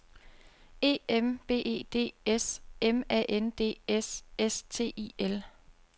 E M B E D S M A N D S S T I L